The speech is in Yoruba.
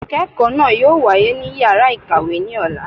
Ikẹkọ naa yóò wàyé ní ìyára ikáwe ni ọlà